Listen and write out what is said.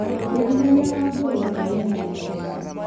ũciarithania wa ngũrũwe nĩ wa ihenya na raithi.